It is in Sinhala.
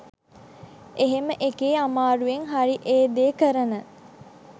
එහෙම එකේ අමාරුවෙන් හරි ඒ දේ කරන